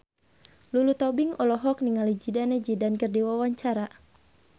Lulu Tobing olohok ningali Zidane Zidane keur diwawancara